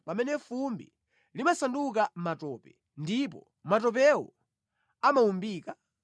pamene fumbi limasanduka matope, ndipo matopewo amawumbika?